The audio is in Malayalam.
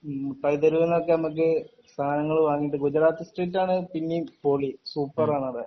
മുട്ടായി തെരുവിന്ന് ഒക്കെ നമുക്ക് സാനങ്ങൾ വാങ്ങീട്ട് ഗുജറാത്തി സ്ട്രീറ്റ് ആണ് പിന്നേം പൊളി സൂപ്പറാണ്